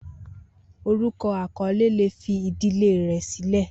Orukọ akọle le fi idile rẹ silẹ.